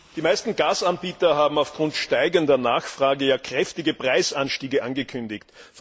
Die meisten Gasanbieter haben aufgrund steigender Nachfrage kräftige Preisanstiege angekündigt.